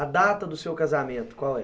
A data do seu casamento, qual é?